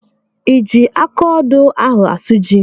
I ji akaodo ahụ asụ ji?